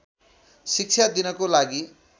शिक्षा दिनको लागि